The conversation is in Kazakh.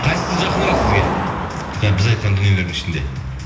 қайсысы жақынырақ сізге біз айтқан дүниелердің ішінде